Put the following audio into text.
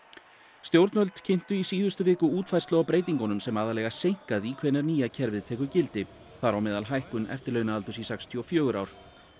stjórnvöld kynntu í síðustu viku útfærslu á breytingunum sem aðallega seinka því hvenær nýja kerfið tekur gildi þar á meðal hækkun eftirlaunaaldurs í sextíu og fjögur ár